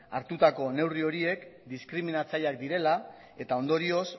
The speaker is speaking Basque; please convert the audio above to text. hartutako neurri horiek diskriminatzaileak direla eta ondorioz